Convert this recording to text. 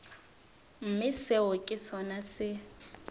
mme seo ke sona se